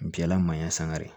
Jala manɲan sangare